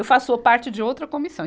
Eu faço parte de outra comissão.